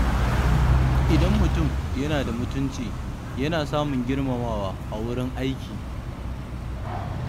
Idan mutum yana da mutunci, yana samun girmamawa a wurin aiki.